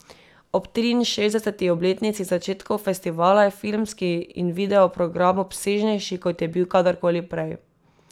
Ob triinšestdeseti obletnici začetkov festivala je filmski in video program obsežnejši, kot je bil kadarkoli prej.